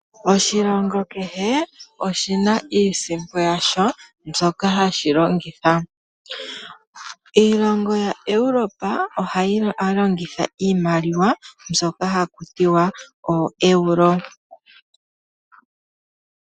Oshilongo kehe oshi na iisimpo yasho shoka hashi longitha. Iilongo yaEuropa ohayi longitha iimaliwa mbyoka haku tiwa oEuro.